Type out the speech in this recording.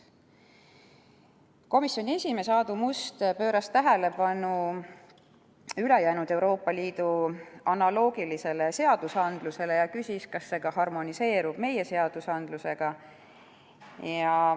Komisjoni esimees Aadu Must juhtis tähelepanu ülejäänud Euroopa Liidu analoogilistele seadustele ja küsis, kas see harmoneerub meie seadustega.